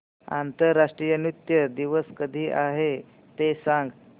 आंतरराष्ट्रीय नृत्य दिवस कधी आहे ते सांग